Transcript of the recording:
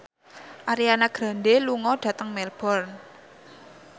Ariana Grande lunga dhateng Melbourne